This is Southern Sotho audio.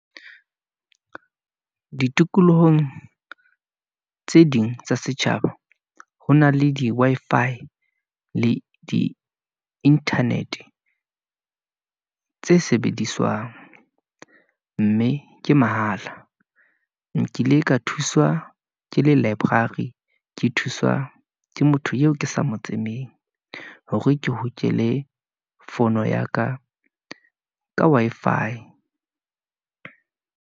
Ditikolohong tse ding tsa setjhaba, ho na le di Wi-Fi le di-internet-e , tse sebediswang , mme ke mahala. Nkile ka thuswa ke le library, ke thuswa ke motho eo ke sa mo tsebeng, hore ke hokele fono ya ka, ka Wi-Fi.